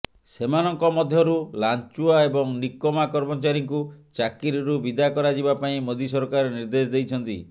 ସେମାନଙ୍କ ମଧ୍ୟରୁ ଲାଞ୍ଚୁଆ ଏବଂ ନିକମା କର୍ମଚାରୀଙ୍କୁ ଚାକିରିରୁ ବିଦା କରାଯିବା ପାଇଁ ମୋଦି ସରକାର ନିର୍ଦ୍ଦେଶ ଦେଇଛନ୍ତି